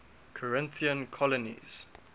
corinthian colonies